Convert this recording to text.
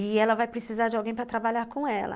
E ela vai precisar de alguém para trabalhar com ela.